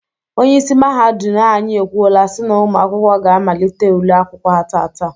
Onyeisi mahadum anyị ekwuola si na ụmụ akwụkwọ ga amalite ule akwụkwọ ha taata.